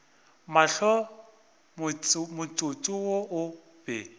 mahlo motsotso wo o be